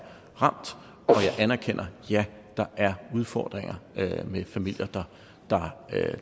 ramt og jeg anerkender at ja der er udfordringer med familier der